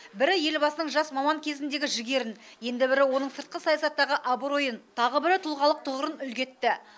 бірі елбасының жас маман кезіндегі жігерін енді бірі оның сыртқы саясаттағы абыройын тағы бірі тұлғалық тұғырын үлгі етті